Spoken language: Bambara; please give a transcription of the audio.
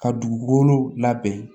Ka dugukolo labɛn